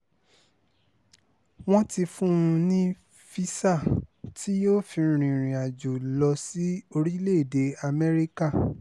wọ́n ti fún un ní físà tí yóò fi rìnrìn-àjò lọ sí orílẹ̀‐èdè amẹ́ríkà